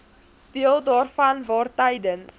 deel daarvan waartydens